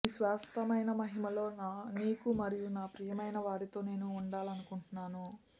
నీ శాశ్వతమైన మహిమలో నీకు మరియు నా ప్రియమైనవారితో నేను ఉండాలనుకుంటున్నాను